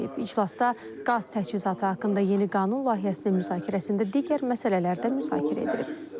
İclasda qaz təchizatı haqqında yeni qanun layihəsinin müzakirəsində digər məsələlər də müzakirə edilib.